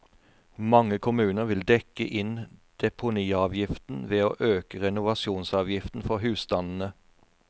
Mange kommuner vil dekke inn deponiavgiften ved å øke renovasjonsavgiften for husstandene.